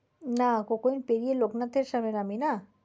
না coke oven পেরিয়ে লোকনাথ এর সামনে নামি না?